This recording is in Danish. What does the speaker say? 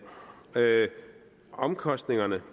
hvad omkostningerne